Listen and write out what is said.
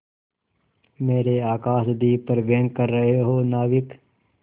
मेरे आकाशदीप पर व्यंग कर रहे हो नाविक